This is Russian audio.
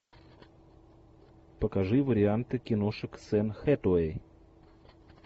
покажи варианты киношек с энн хэтэуэй